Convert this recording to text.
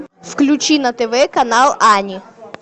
включи на тв канал ани